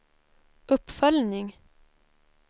uppföljning